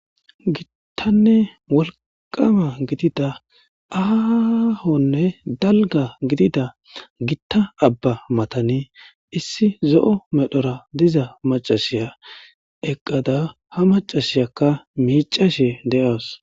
gittanne wolqama gidida aahonne dalga gidida gitta abba matani issi zo7o medhora diza macashiya eqqada ha macasiyakka miicashe de7as